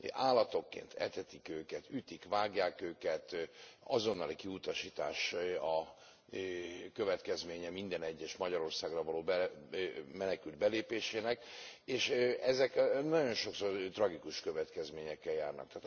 Állatokként etetik őket, ütik vágják őket, azonnali kiutasítás a következménye minden egyes Magyarországra való menekült belépésének, és ezek nagyon sokszor tragikus következményekkel járnak.